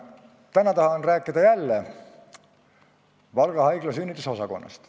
Täna tahan rääkida jälle Valga Haigla sünnitusosakonnast.